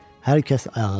Hər kəs ayağa qalxdı.